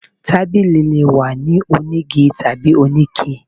Tábilí lé wà ní onígí tabí oní iké